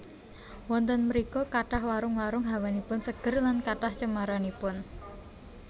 Wonten mrika kathah warung warung hawanipun seger lan kathah cemaranipun